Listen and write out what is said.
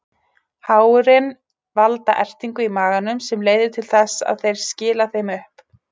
Hárin valda ertingu í maganum sem leiðir til þess að þeir skila þeim upp.